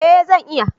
Eh, zan iya